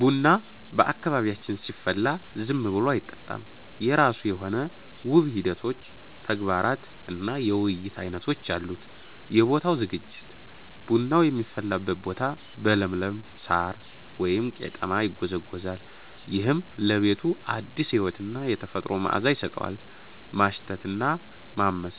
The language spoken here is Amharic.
ቡና በአካባቢያችን ሲፈላ ዝም ብሎ አይጠጣም፤ የራሱ የሆኑ ውብ ሂደቶች፣ ተግባራት እና የውይይት ዓይነቶች አሉት። የቦታው ዝግጅት፦ ቡናው የሚፈላበት ቦታ በለምለም ሳር (ቀጤማ) ይጎዘጎዛል። ይህም ለቤቱ አዲስ ሕይወትና የተፈጥሮ መዓዛ ይሰጠዋል። ማሽተት እና ማመስ፦